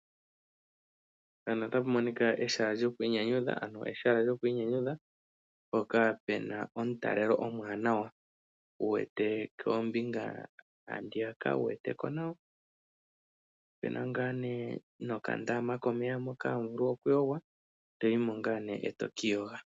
Ehala lyokwiinyanyudha mpoka puna omutalelo omuwanawa handiyaka wuweteko nawa. Opuna wo okandama komeya mono hamu vulu okwiiyoga anao toyimo eto kiiyoga.